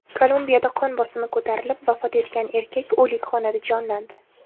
Kolumbiyada qon bosimi ko‘tarilib, vafot etgan erkak o‘likxonada jonlandi.